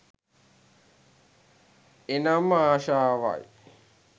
එනම් ආශාවයි.